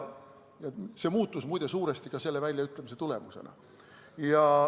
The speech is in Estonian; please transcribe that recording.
See muutus muide suuresti ka selle väljaütlemise tulemusena.